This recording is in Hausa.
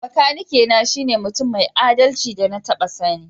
Makanaki na shine mutum mai adalci da na taba sanni.